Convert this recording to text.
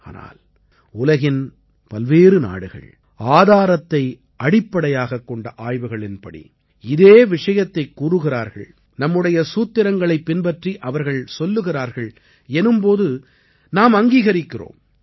ஆனால் உலகின் பல்வேறு நாடுகள் ஆதாரத்தை அடிப்படையாகக் கொண்ட ஆய்வுகளின்படி இதே விஷயத்தைக் கூறுகிறார்கள் நம்முடைய சூத்திரங்களைப் பின்பற்றி அவர்கள் சொல்லுகிறார்கள் எனும் போது நாம் அங்கீகரிக்கிறோம்